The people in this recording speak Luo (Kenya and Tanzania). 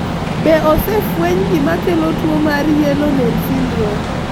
Be osefweny gima kelo tuo mar yellow nail syndrome?